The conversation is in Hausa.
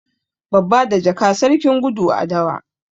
Babba da jaka, sarkin gudu a dawa.